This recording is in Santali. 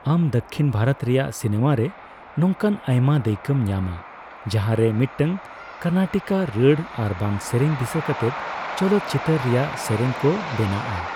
ᱟᱢ ᱫᱚᱠᱠᱷᱤᱱ ᱵᱷᱟᱨᱚᱛ ᱨᱮᱭᱟᱜ ᱥᱤᱱᱮᱹᱢᱟ ᱨᱮ ᱱᱚᱝᱠᱟ ᱟᱭᱢᱟ ᱫᱟᱹᱭᱠᱟᱹᱢ ᱧᱟᱢᱼᱟ ᱡᱟᱦᱟᱸ ᱨᱮ ᱢᱤᱫᱴᱟᱝ ᱠᱟᱨᱱᱟᱴᱤᱠ ᱨᱟᱹᱲ ᱟᱨᱵᱟᱝ ᱥᱮᱨᱮᱧ ᱫᱤᱥᱟᱹ ᱠᱟᱛᱮ ᱪᱚᱞᱚᱛᱪᱤᱛᱟᱹᱨ ᱨᱮᱭᱟᱜ ᱥᱮᱨᱮᱧ ᱠᱚ ᱵᱮᱱᱟᱜᱼᱟ ᱾